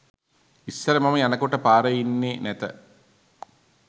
ඉස්සර මම යනකොට පාරේ ඉන්නේ නැත